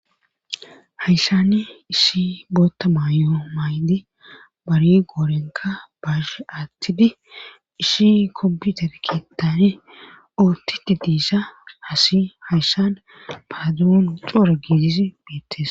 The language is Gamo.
hayssani ishi bootta maayo maaydi bari goorenka baashe aattidi ishi kobi tarkeetani oottiti diisa hasi hayssan paaduun coora giidizi beettes